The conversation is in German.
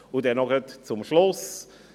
Gleich noch zum Schluss: